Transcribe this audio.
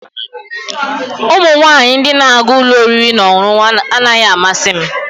Ụmụ nwanyị ndị na-aga ụlọ oriri na ọṅụṅụ anaghị amasị m